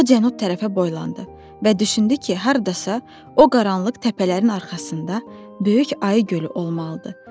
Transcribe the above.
O cənub tərəfə boylandı və düşündü ki, hardasa o qaranlıq təpələrin arxasında böyük ayı gölü olmalıdır.